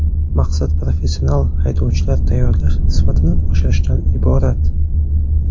Maqsad professional haydovchilar tayyorlash sifatini oshirishdan iborat.